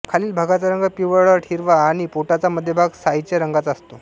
खालील भागाचा रंग पिवळट हिरवा आणि पोटाचा मध्यभाग सायीच्या रंगाचा असतो